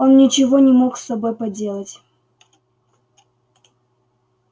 он ничего не мог с собой поделать